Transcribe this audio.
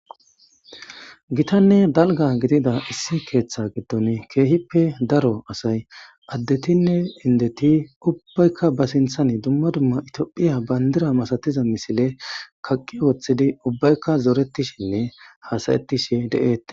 Gitanne dalga gidida issi keeththa giddon keehippe daro asay addetinne indeti ubbaykka ba sinthan dumma dumma itiophiya bayndira masatiza misile kaqqi woththidi ubbaykka zoretishinne hasayettishi de7ettes.